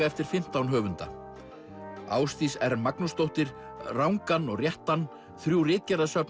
eftir fimmtán höfunda Ásdís r Magnúsdóttir rangan og réttan þrjú